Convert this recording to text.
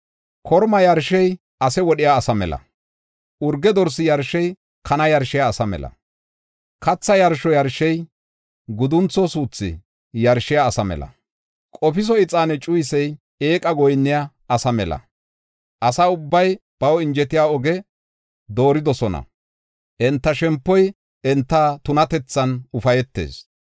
Korma yarshey ase wodhiya asa mela; urge dorsi yarshey kana yarshiya asa mela; katha yarsho yarshey, guduntho suuthi yarshiya asa mela; qofiso ixaane cuyisey eeqa goyinniya asa mela. Asa ubbay baw injetiya oge dooridosona; enta shempoy enta tunatethan ufaytees.